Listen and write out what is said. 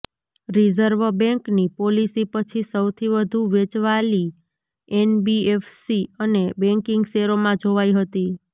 reserve બેન્કની policy પછી સૌથી વધુ વેચવાલી એનબીએફસી અને બેન્કિંગ શેરોમાં જોવાઈ હતી